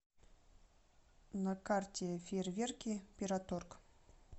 на карте фейерверки пироторг